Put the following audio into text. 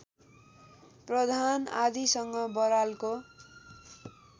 प्रधान आदिसँग बरालको